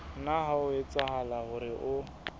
nna ha etsahala hore o